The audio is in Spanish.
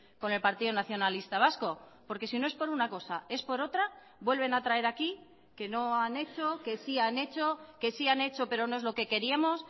con el partido nacionalista vasco porque si no es por una cosa es por otra vuelven a traer aquí que no han hecho que sí han hecho que sí han hecho pero no es lo que queríamos